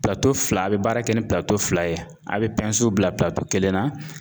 Pilato fila ,a bɛ baara kɛ ni pilato fila ye ,a bɛ pɛnsiw bila pilato kelen na.